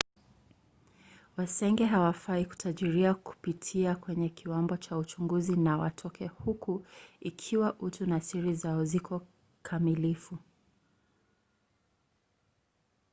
wasenge hawafai kutarajia kupitia kwenye kiwambo cha uchunguzi na watoke huko ikiwa utu na siri zao ziko kamilifu